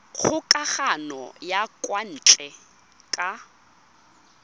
kgokagano ya kwa ntle ka